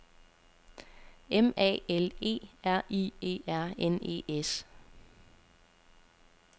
M A L E R I E R N E S